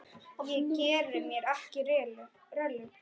Ég geri mér ekki rellu.